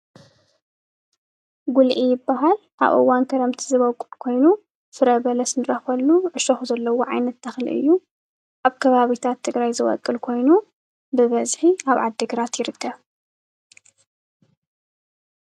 ጉልዒ ይበሃል ።ኣብ እዋን ክረምቲ ዝበቊል ኮይኑ ፍረ በለስ ንረኽበሉ ዕሾኽ ዘለዎ ዓይነት ተኽሊ እዩ፡፡ ኣብ ኣብ ከባብታት ትግራይ ዝበቁል ኮይኑ ብበዝሒ ኣብ ዓድ ግራት ይርከብ፡፡